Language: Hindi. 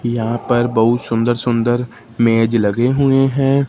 यहां पर बहुत सुंदर सुंदर मेज लगे हुए हैं।